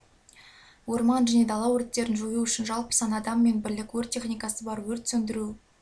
орман және дала өрттерін жою үшін жалпы саны адам мен бірлік өрт техникасы бар өрт сөндіру